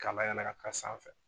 Ka layɛlɛ ka taa sanfɛ.